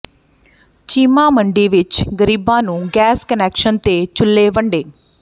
ਚੀਮਾ ਮੰਡੀ ਵਿੱਚ ਗ਼ਰੀਬਾਂ ਨੂੰ ਗੈਸ ਕੁਨੈਕਸ਼ਨ ਤੇ ਚੁੱਲ੍ਹੇ ਵੰਡੇ